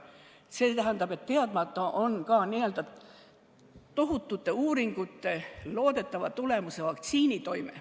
See tähendab, et teadmata on ka tohutute uuringute loodetava tulemuse, vaktsiini toime.